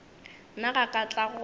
nna ga ka tla go